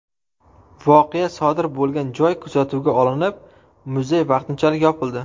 Voqea sodir bo‘lgan joy kuzatuvga olinib, muzey vaqtinchalik yopildi.